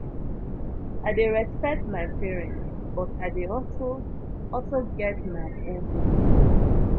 i dey respect my parents but i dey also also get my own opinion